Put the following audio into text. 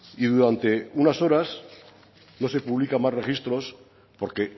y durante unas horas no se publican más registros porque